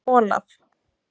Olaf